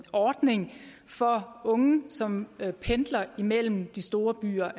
ordning for unge som pendler imellem de store byer